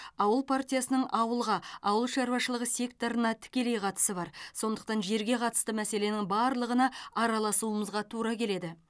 ауыл партиясының ауылға ауыл шаруашылығы секторына тікелей қатысы бар сондықтан жерге қатысты мәселенің барлығына араласуымызға тура келеді